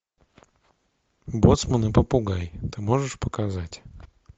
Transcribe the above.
боцман и попугай ты можешь показать